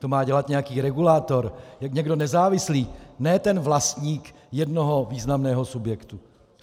To má dělat nějaký regulátor, někdo nezávislý, ne ten vlastník jednoho významného subjektu.